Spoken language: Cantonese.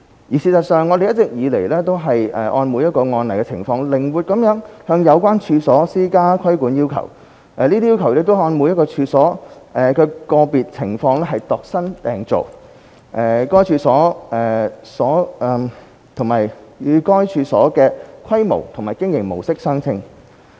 而事實上，我們一直以來均按每一個案的情況，靈活地向有關處所施加規管要求，這些要求是按每一處所的個別情況度身訂造，與該處所的規模和經營模式相稱。